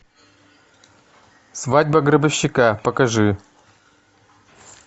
свадьба гробовщика покажи